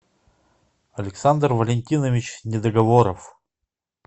александр валентинович недоговоров